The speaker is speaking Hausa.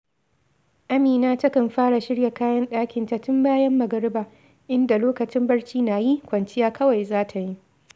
Amina takan fara shirya kayan ɗakinta tun bayan magariba, inda lokacin barci na yi, kwanciya kawai za ta yi